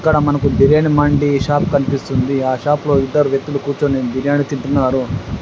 ఇక్కడ మనకు బిర్యాని మండీ షాప్ కనిపిస్తుంది. ఆ షాప్లో ఇద్దరు వ్యక్తులు కూర్చొని బిర్యాని తింటున్నారు.